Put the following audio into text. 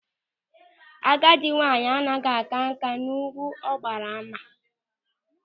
Agadi nwaanyị anaghị a ka nkà n'égwú ọ maara agba.